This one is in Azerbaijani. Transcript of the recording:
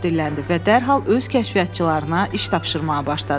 Qustav dilləndi və dərhal öz kəşfiyyatçılarına iş tapşırmağa başladı.